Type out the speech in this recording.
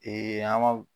an ga